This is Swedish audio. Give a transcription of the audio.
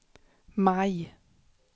maj